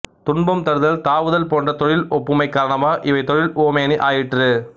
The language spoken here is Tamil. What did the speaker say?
துன்பம் தருதல் தாவுதல் போன்ற தொழில் ஒப்புமை காரணமாக இவை தொழில் உவமையணி ஆயிற்று